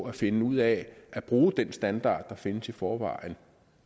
at finde ud af at bruge den standard der findes i forvejen